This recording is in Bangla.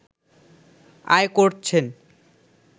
আয় করছেন